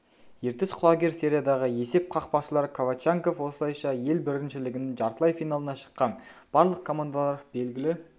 ертіс құлагер сериядағы есеп қақпашылар ковач янков осылайша ел біріншілігінің жартылай финалына шыққан барлық командалар белгілі